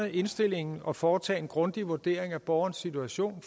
indstillingen og foretage en grundig vurdering af borgerens situation og